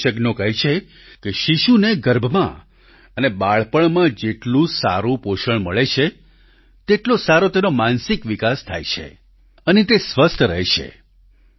વિશેષજ્ઞો કહે છે કે શિશુને ગર્ભમાં અને બાળપણમાં જેટલું સારું પોષણ મળે છે તેટલો સારો તેનો માનસિક વિકાસ થાય છે અને તે સ્વસ્થ રહે છે